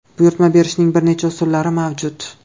Buyurtma berishning bir necha usullari mavjud.